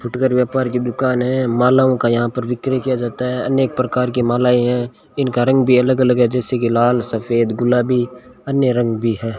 फुटकर व्यापार की दुकान है मालाओं का यहां पर बिक्री किया जाता है अनेक प्रकार की मालाएं हैं इनका रंग भी अलग अलग है जैसे कि लाल सफेद गुलाबी अन्य रंग भी है।